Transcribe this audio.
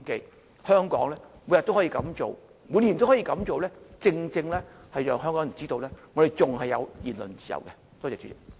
在香港，每天、每年都可以這樣做，正正能讓香港人知道我們還有言論自由。